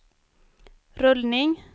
rullning